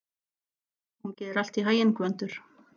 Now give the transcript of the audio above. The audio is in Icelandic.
Gangi þér allt í haginn, Gvöndur.